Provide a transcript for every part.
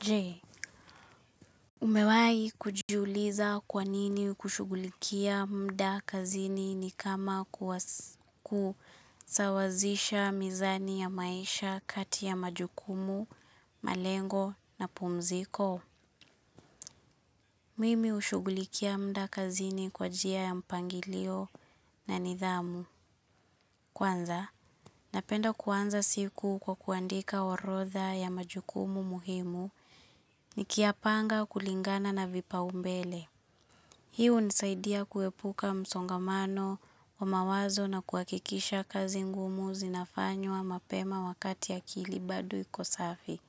Jee, umewai kujiuliza kwanini kushughulikia mda kazini ni kama kusawazisha mizani ya maisha kati ya majukumu, malengo na pumziko? Mimi hushughulikia mda kazini kwa njia ya mpangilio na nidhamu. Kwanza, napenda kuanza siku kwa kuandika orodha ya majukumu muhimu nikiyapanga kulingana na vipaumbele. Hii unisaidia kuepuka msongamano wa mawazo na kuhakikisha kazi ngumu zinafanywa mapema wakati akil bado iko safi.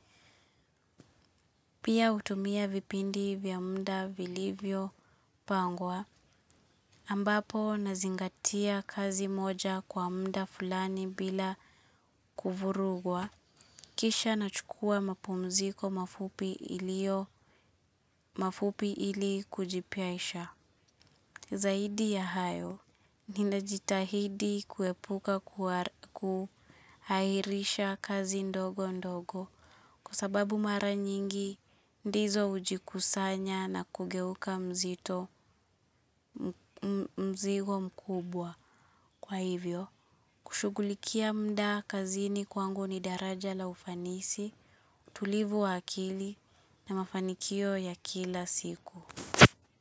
Pia hutumia vipindi vya mda vilivyo pangwa. Ambapo nazingatia kazi moja kwa mda fulani bila kuvurugwa. Kisha nachukua mapumziko mafupi mafupi ili kujipaisha. Zaidi ya hayo, ninajitahidi kuepuka kuhairisha kazi ndogo ndogo kwa sababu mara nyingi ndizo hujikusanya na kugeuka mzito, mzigo mkubwa. Kwa hivyo, kushughulikia mda kazini kwangu ni daraja la ufanisi, utulivu wa akili na mafanikio ya kila siku.